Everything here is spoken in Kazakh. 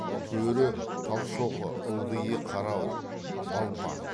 төрі талшоқы ылдиы қарауыл балпаң